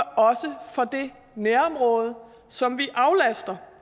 det nærområde som vi aflaster